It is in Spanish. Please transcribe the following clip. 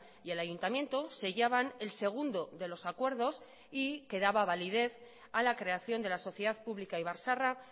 y el ayuntamiento sellaban el segundo de los acuerdos y que daba validez a la creación de la sociedad pública ibar zaharra